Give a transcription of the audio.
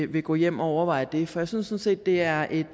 vil gå hjem og overveje det for jeg synes sådan set det er et